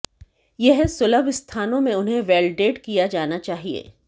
यह सुलभ स्थानों में उन्हें वेल्डेड किया जाना चाहिए